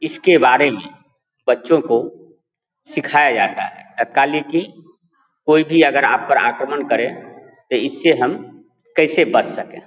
इसके बारे में बच्चो को सिखाया जाता है तत्कालय की कोई भी अगर आप पर आक्रमण करे तो इससे हम कैसे बच सके।